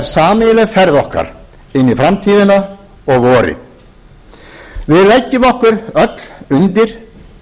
sameiginleg ferð okkar inn í framtíðina og vorið við leggjum okkur öll undir